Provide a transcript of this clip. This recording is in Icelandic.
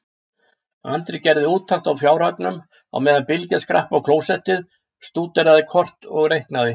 Andri gerði úttekt á fjárhagnum á meðan Bylgja skrapp á klósettið, stúderaði kort og reiknaði.